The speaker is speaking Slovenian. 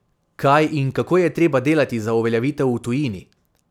Kaj in kako je treba delati za uveljavitev v tujini?